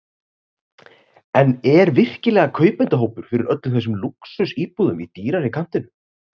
En er virkilega kaupendahópur fyrir öllum þessum lúxusíbúðum í dýrari kantinum?